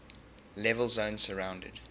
level zone surrounded